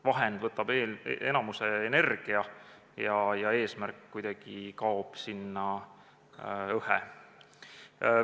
Vahend võtab enamiku energiast ja eesmärk kuidagi kaob sinna öhe.